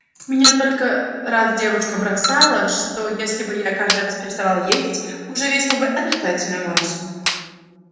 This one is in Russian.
меня только раз девушка бросали что если бы я каждый раз переставал есть уже весил бы отрицательную массу